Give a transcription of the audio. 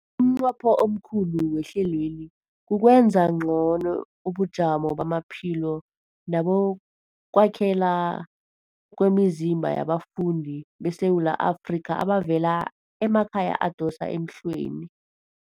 Umnqopho omkhulu wehlelweli kukwenza ngcono ubujamo bamaphilo nebokwakhela kwemizimba yabafundi beSewula Afrika abavela emakhaya adosa emhlweni.